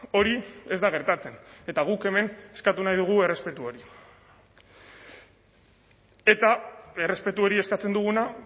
hori ez da gertatzen eta guk hemen eskatu nahi dugu errespetu hori eta errespetu hori eskatzen duguna